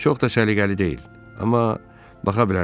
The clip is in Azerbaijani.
"Çox da səliqəli deyil, amma baxa bilərsiniz."